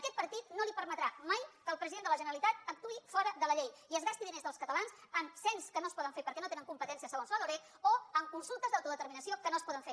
aquest partit no li permetrà maifora de la llei i es gasti diners dels catalans en cens que no es poden fer perquè no hi tenen competències segons la loreg o en consultes d’autodeterminació que no es poden fer